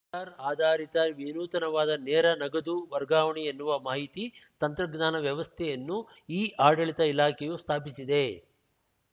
ರ್ ಆಧಾರಿತ ವಿನೂನತವಾದ ನೇರ ನಗದು ವರ್ಗಾವಣೆ ಎನ್ನುವ ಮಾಹಿತಿ ತಂತ್ರಜ್ಞಾನ ವ್ಯವಸ್ಥೆಯನ್ನು ಇಆಡಳಿತ ಇಲಾಖೆಯು ಸ್ಥಾಪಿಸಿದೆ